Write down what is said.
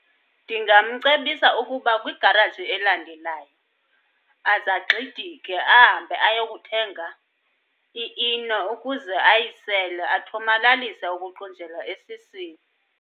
Ndingamcebisa ukuba kwigaraji elandelayo azagxidike ahambe ayokuthenga iEno ukuze ayisele athomalalise ukuqunjelwa esiswini.